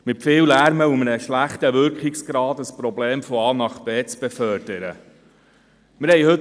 Es wird mit viel Lärm und einem schlechten Wirkungsgrad ein Problem von A nach B befördert.